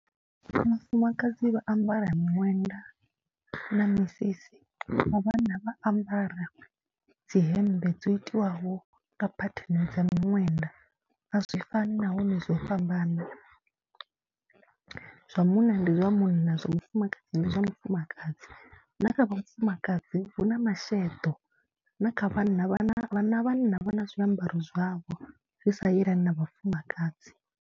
Vhafumakadzi vha ambara miṅwenda na misisi, vha vhanna vha ambara dzi hembe dzo itiwaho nga phatheni dza miṅwenda. A zwi fani nahone zwo fhambana, zwa munna ndi zwa munna, zwa mufumakadzi ndi zwa mufumakadzi na kha vhafumakadzi hu na masheḓo na kha vhanna, vha vhanna vhanna vha na zwiambaro zwavho zwi sa yelani na vhafumakadzi.